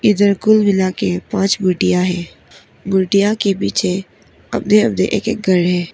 इधर कुल मिलाके पांच मूर्तियां है । मूर्तियां के पीछे अपने अपने एक एक घर है।